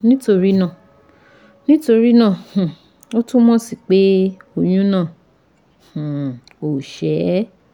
Nítorí náà, Nítorí náà, um ó túmọ̀ sí peh oyun náà um ò ṣé